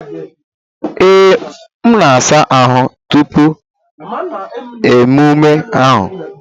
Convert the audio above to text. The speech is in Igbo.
Ee, m na-asa ahụ́ tupu emume ahụ.